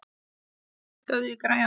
Míríel, hækkaðu í græjunum.